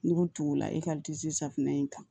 Nugu tugula e ka safunɛ in kan